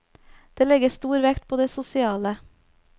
Det legges stor vekt på det sosiale.